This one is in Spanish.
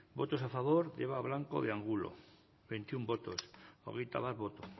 votos a favor de eva blanco de angulo veintiuno votos hogeitabat boto